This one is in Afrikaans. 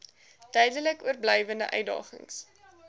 duidelik oorblywende uitdagings